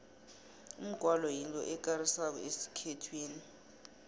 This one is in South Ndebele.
umgwalo yinto ekarisako esikhethwini